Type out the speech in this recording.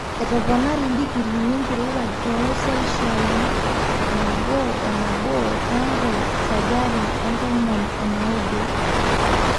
etoponari digriini enkirowuaj too selshiai 1.1 tangu senjari e tomon o naudo